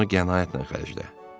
Ona qənaətlə xərclə.